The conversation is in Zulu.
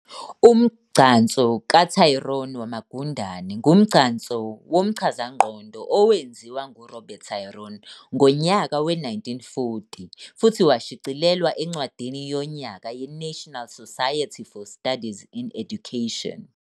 Umgcanso kaTryon wamagundane ngumgcanso womchazangqondo owenziwa nguRobert Tryon ngontaka we-1940 futhi washicilelwa eNcwadini yoNyaka ye-National Society for Studies in Education.